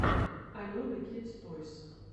алена кидс тойс